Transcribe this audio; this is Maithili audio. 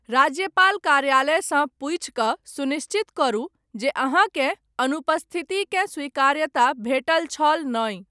राज्यपाल कार्यालयसँ पूछिकऽ, सुनिश्चित करू, जे अहाँकेँ, अनुपस्थितिकेँ स्वीकार्यता भेटल छल नहि।